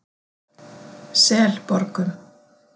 Selborgum